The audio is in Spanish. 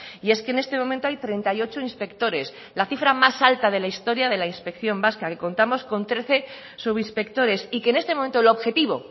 y es que en este momento hay treinta y ocho inspectores la cifra más alta de la historia de la inspección vasca que contamos con trece subinspectores y que en este momento el objetivo